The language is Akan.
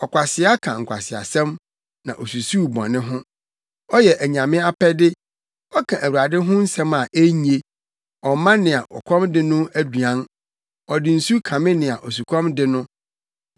Ɔkwasea ka nkwaseasɛm na osusuw bɔne ho: ɔyɛ anyame apɛde ɔka Awurade ho nsɛm a enye; ɔmma nea ɔkɔm de no no aduan ɔde nsu kame nea osukɔm de no.